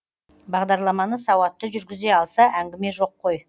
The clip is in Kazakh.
бағдарламаны сауатты жүргізе алса әңгіме жоқ қой